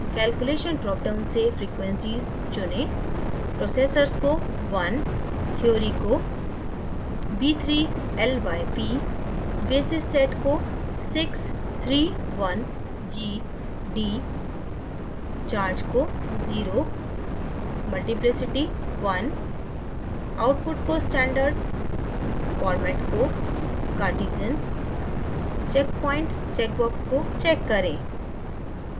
calculation drop down से frequencies चुनें